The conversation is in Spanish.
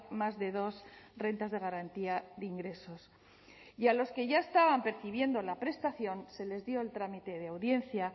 más de dos rentas de garantía de ingresos y a los que ya estaban percibiendo la prestación se les dio el trámite de audiencia